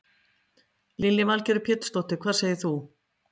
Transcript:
Lillý Valgerður Pétursdóttir: Hvað segir þú?